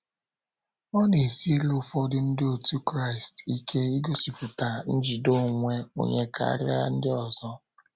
Ọ na - esiri ụfọdụ Ndị otú Kraịst ike igosipụta njide onwe onye karịa ndị ọzọ.